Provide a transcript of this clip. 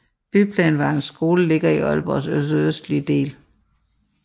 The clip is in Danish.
Byplanvejens skole ligger i Aalborgs sydøstlige del